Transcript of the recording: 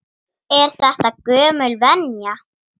Er þetta gömul venja?